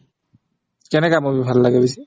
কেনেকা movie ভাল লাগে বেছি